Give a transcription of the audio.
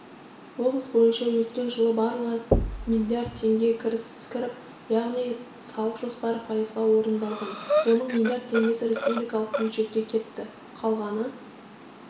облыс бойынша өткен жылы барлығы млрд теңге кіріс кіріп яғни салық жоспары пайызға орындалған оның миллиард теңгесі республикалық бюджетке кетті қалғаны